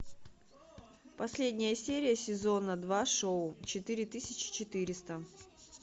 последняя серия сезона два шоу четыре тысячи четыреста